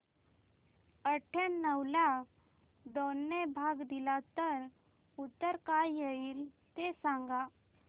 अठावन्न ला दोन ने भाग दिला तर उत्तर काय येईल ते सांगा